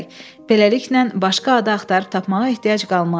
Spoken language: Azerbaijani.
Beləliklə, başqa ada axtarıb tapmağa ehtiyac qalmaz.